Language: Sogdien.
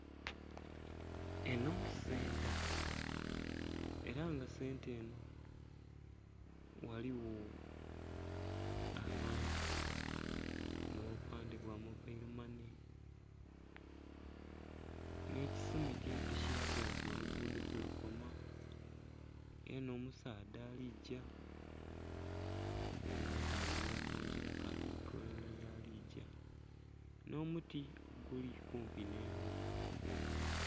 Enho senta ela nga senta enho ghaligho abantu nh'obupandhe bwa mobailo mane nh'ekisumiti ekilaga nti oluguudo kwe lukoma ela nh'omusaadha ali gya nga atambulila mu ngila k'ali golola yali gya nh'omuti oguli kumpi nh'ennhumba.